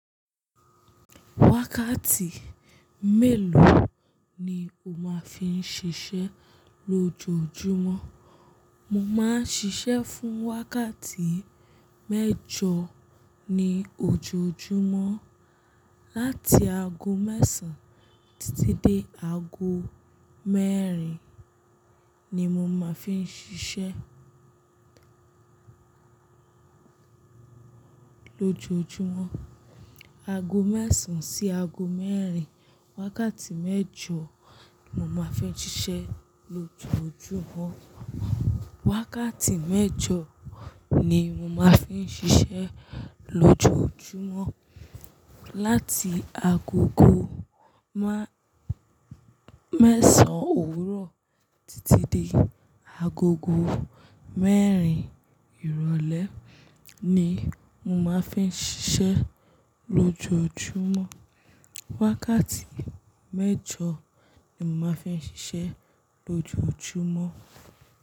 Wákàtí mélòó ni o máa fi ń ṣiṣẹ́ lójoojúmọ́? Mo máa ń ṣiṣẹ́ fún wákàtí mẹ́jọ ní ojoojúmọ́. Láti ago mẹ́sàn án títí dé ago mẹ́rin ni mo máa fi ń ṣiṣẹ́ lójoojúmọ́. Ago mẹ́sàn-án sí ago mẹ́rin. Wákàtí mẹ́jọ ni mo máa fi ń ṣiṣẹ́ lójoojúmọ́. Wákàtí mẹ́jọ ni mo máa fi ń ṣiṣẹ́ lójoojúmọ́. Láti agogo mẹ́sàn-án òwúrọ̀ títí dé agogo mẹ́rin ìrọ̀lẹ́ ni mo máa fi ń ṣiṣẹ́ lójoojúmọ́. Wákàtí mẹ́jọ ni mo máa fi ń ṣiṣẹ́ lójoojúmọ́.